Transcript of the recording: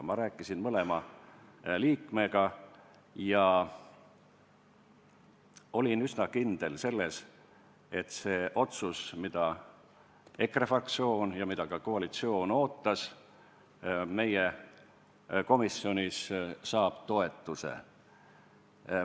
Ma rääkisin mõlema liikmega ja olin üsna kindel selles, et see otsus, mida EKRE fraktsioon ja ka koalitsioon ootas, saab meie komisjonis toetuse.